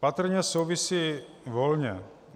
Patrně souvisí volně.